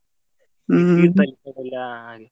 ಹಾ ಹಾಗೆ.